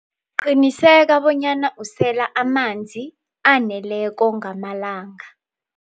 Qiniseka bonyana usela amanzi aneleko ngamalanga.